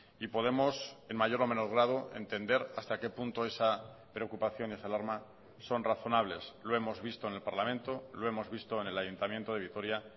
y podemos en mayor o menor grado entender hasta qué punto esa preocupación esa alarma son razonables lo hemos visto en el parlamento lo hemos visto en el ayuntamiento de vitoria